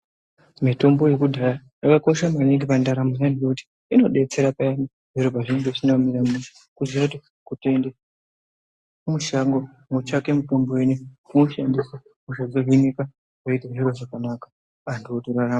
Mitombo yakudhaya yakakosha maningi pandaramo yevantu ngekuti inobetsera payani zviro pazvinonga zvisina kumira mushe. Kuziya kuti kutoende mushango kunotsvake mitombo inoiyi vonoshandisa hosha dzohinika votoite zviro zvakanaka antu otorarama.